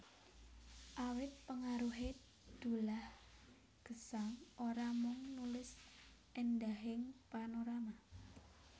Awit pengaruhé Dullah Gesang ora mung nulis éndahing panorama